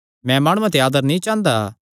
मैं माणुआं ते आदर नीं चांह़दा